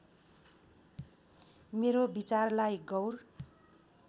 मेरो विचारलाई गौर